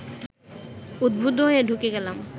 উদ্বুদ্ধ হয়ে ঢুকে গেলাম